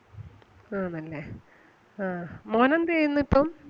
ആണല്ലേ ആഹ് മോനെന്ത് ചെയ്യുന്ന് ഇപ്പം?